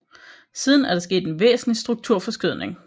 Siden er der sket en væsentlig strukturforskydning